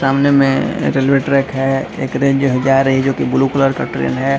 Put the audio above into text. सामने मे railway track है एक जा रही है जोकि ब्लू कलर का ट्रैन है।